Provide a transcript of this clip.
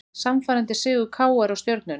Sannfærandi sigur KR á Stjörnunni